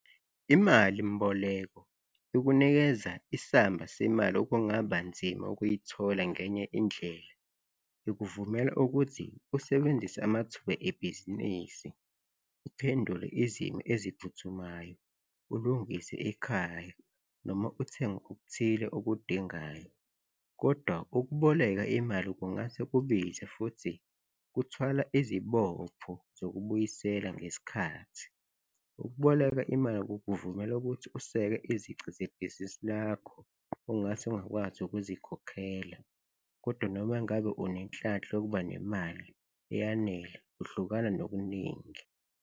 Imali mboleko ikunikeza isamba semali okungaba nzima ukuyithola ngenye indlela. Ikuvumela ukuthi usebenzise amathuba ebhizinisi, uphendule izimo eziphuthumayo, ulungise ekhaya noma uthenge okuthile okudingayo kodwa ukuboleka imali kungase kubize futhi kuthwala izibopho zokubuyisela ngesikhathi. Ukuboleka imali kukuvumela ukuthi useke izici zebhizinisi lakho ongase ungakwazi ukuzikhokhela kodwa noma ngabe unenhlanhla yokuba nemali eyanele uhlukana nokuningi.